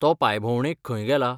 तो पांयभोवंडेक खंय गेला?